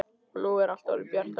Og nú er allt orðið bjart á ný.